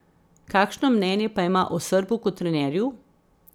Kakšno mnenje pa ima o Srbu kot trenerju?